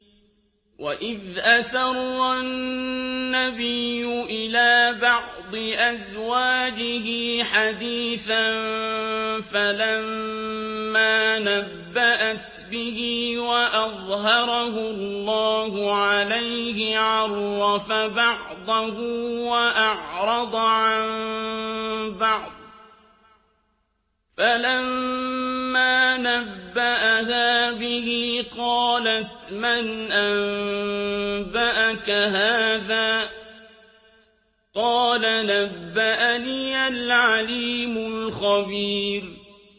وَإِذْ أَسَرَّ النَّبِيُّ إِلَىٰ بَعْضِ أَزْوَاجِهِ حَدِيثًا فَلَمَّا نَبَّأَتْ بِهِ وَأَظْهَرَهُ اللَّهُ عَلَيْهِ عَرَّفَ بَعْضَهُ وَأَعْرَضَ عَن بَعْضٍ ۖ فَلَمَّا نَبَّأَهَا بِهِ قَالَتْ مَنْ أَنبَأَكَ هَٰذَا ۖ قَالَ نَبَّأَنِيَ الْعَلِيمُ الْخَبِيرُ